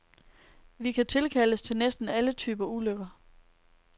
Vi kan tilkaldes til næsten alle typer ulykker.